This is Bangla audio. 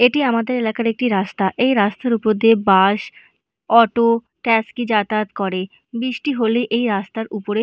এটি আমাদের এলাকার একটি রাস্তা। এই রাস্তার উপর দিয়ে বাস অটো ট্যাস্কি যাতায়াত করে। বৃষ্টি হলে এই রাস্তার উপরে--